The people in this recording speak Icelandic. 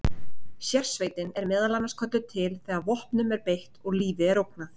Sérsveitin er meðal annars kölluð til þegar vopnum er beitt og lífi er ógnað.